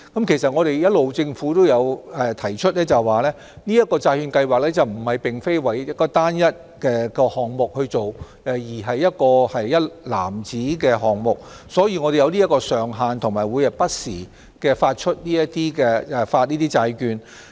政府一直也有提出，此債券計劃並非為單一項目去做，而是一籃子的項目，所以我們會設有上限，並會不時發行有關的債券。